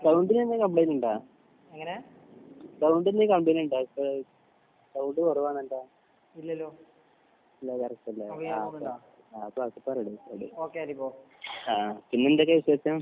സൗണ്ടിന് എന്തേലും കംപ്ലയിന്റ് ഉണ്ടോ? സൗണ്ട് എന്തേലും കംപ്ലയിന്റ് ഉണ്ടോ അവിടുത്തെ സൗണ്ട് കുറവാണല്ലോ ആഹ് പിന്നെ എന്തൊക്കെ വിശേഷം?